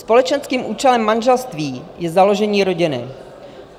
Společenským účelem manželství je založení rodiny.